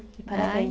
Parabéns.